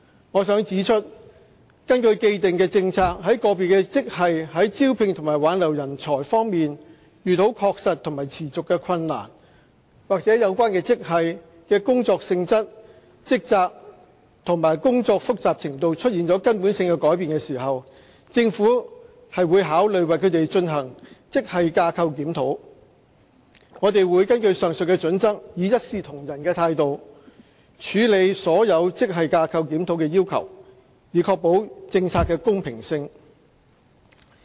我想指出，根據既定政策，在個別職系在招聘和挽留人才方面遇到確實和持續的困難，或有關職系的工作性質、職責及工作複雜程度出現根本性的改變時，政府便會考慮為它們進行職系架構檢討。我們會根據上述準則，以一視同仁的態度處理所有職系架構檢討的要求，以確保政策的公平性。